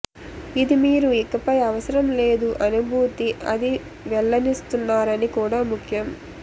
ఇది మీరు ఇకపై అవసరం లేదు అనుభూతి అది వెళ్ళనిస్తున్నారని కూడా ముఖ్యం